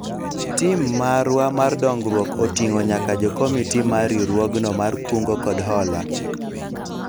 Tim marwa mar dongruok oting'o nyaka jokomiti mar riwruogno mar kungo kod hola